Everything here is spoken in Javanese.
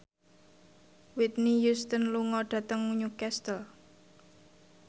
Whitney Houston lunga dhateng Newcastle